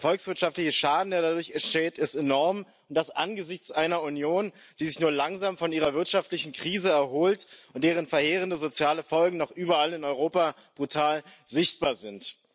Der volkswirtschaftliche Schaden, der dadurch entsteht, ist enorm und das angesichts einer Union, die sich nur langsam von ihrer wirtschaftlichen Krise erholt, deren verheerende soziale Folgen noch überall in Europa brutal sichtbar sind.